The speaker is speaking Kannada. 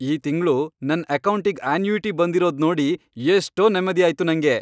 ಈ ತಿಂಗ್ಳು ನನ್ ಅಕೌಂಟಿಗ್ ಅನ್ಯೂಇಟಿ ಬಂದಿರೋದ್ ನೋಡಿ ಎಷ್ಟೋ ನೆಮ್ದಿ ಆಯ್ತು ನಂಗೆ.